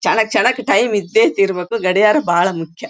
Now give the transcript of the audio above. ಛಂಕ್ಕ ಛಂಕ್ ಟೈಮ್ ಇದ್ದೆಇರಬೇಕು ಗಡಿಯಾರ ಬಹಳ್ ಮುಖ್ಯ.